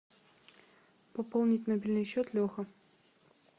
пополнить мобильный счет леха